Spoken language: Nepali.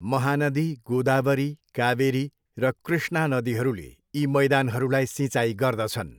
महानदी, गोदावरी, कावेरी र कृष्णा नदीहरूले यी मैदानहरूलाई सिँचाइ गर्दछन्।